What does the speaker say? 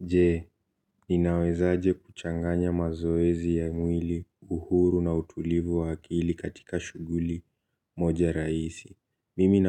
Je, ninawezaje kuchanganya mazoezi ya mwili uhuru na utulivu wa akili katika shughuli moja rahisi. Mimi